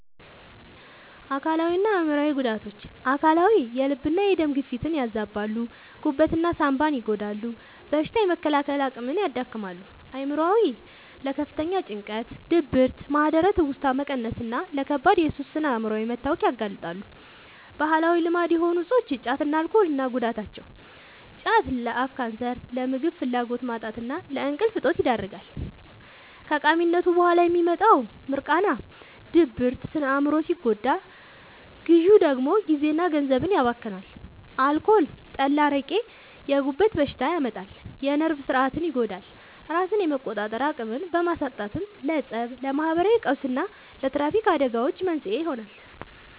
አካላዊና አእምሯዊ ጉዳቶች፦ አካላዊ፦ የልብና የደም ግፊትን ያዛባሉ፣ ጉበትና ሳንባን ይጎዳሉ፣ በሽታ የመከላከል አቅምን ያዳክማሉ። አእምሯዊ፦ ለከፍተኛ ጭንቀት፣ ድብርት፣ ማህደረ-ትውስታ መቀነስና ለከባድ የሱስ ስነ-አእምሯዊ መታወክ ያጋልጣሉ። ባህላዊ ልማድ የሆኑ እፆች (ጫትና አልኮል) እና ጉዳታቸው፦ ጫት፦ ለአፍ ካንሰር፣ ለምግብ ፍላጎት ማጣትና ለእንቅልፍ እጦት ይዳርጋል። ከቃሚነቱ በኋላ የሚመጣው «ሚርቃና» (ድብርት) ስነ-አእምሮን ሲጎዳ፣ ግዢው ደግሞ ጊዜና ገንዘብን ያባክናል። አልኮል (ጠላ፣ አረቄ)፦ የጉበት በሽታ ያመጣል፣ የነርቭ ሥርዓትን ይጎዳል፤ ራስን የመቆጣጠር አቅምን በማሳጣትም ለፀብ፣ ለማህበራዊ ቀውስና ለትራፊክ አደጋዎች መንስኤ ይሆናል።